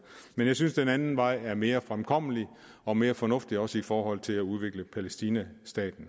men jeg synes den anden vej er mere fremkommelig og mere fornuftig også i forhold til at udvikle staten palæstina